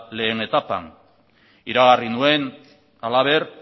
lehen etapan iragarri nuen halaber